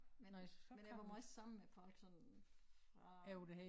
Men men jeg var måj sammen med folk sådan fra